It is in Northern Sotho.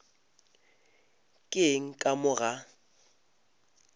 ke eng ka mo ga